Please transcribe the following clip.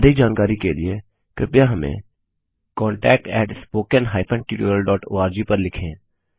अधिक जानकारी के लिए कृपया हमें contactspoken hyphen tutorial dot O R G पर लिखें